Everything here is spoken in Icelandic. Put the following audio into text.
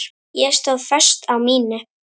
Ég stóð föst á mínu.